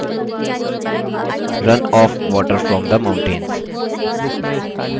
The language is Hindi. run off water from the mountains